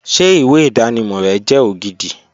Ṣé ìwé ìdánimọ̀ rẹ jẹ́ ògidì